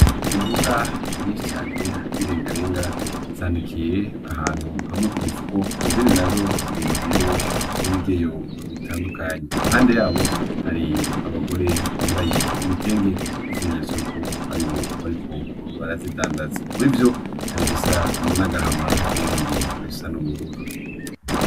Imboga nyinshi cane z’irengarenga zanikiye ahantu hamwe ku mufuko izindi nazo ziri mu ndobo ibigeyo bitandukanye , impande yabo hari abagore bambaye ibitenge nk’ikimenyesto yuko aribo bariko barazidandaza , muri vyo hari ibisa n’agahama n’ibindi bisa n’ubururu.